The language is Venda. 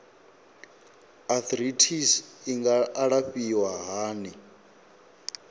arthritis i nga alafhiwa hani